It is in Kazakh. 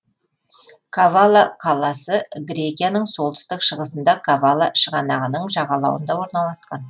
кавала қаласы грекияның солтүстік шығысында кавала шығанағының жағалауында орналасқан